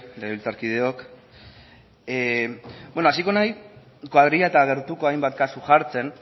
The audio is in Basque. legebiltzarkideok hasiko naiz koadrila eta gertuko hainbat kasu jartzen